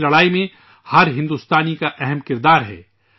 اس جنگ میں ہر ہندوستانی کا اہم کردار ہے